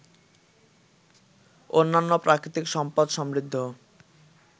অন্যান্য প্রাকৃতিক সম্পদ সমৃদ্ধ